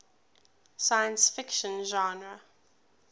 science fiction genre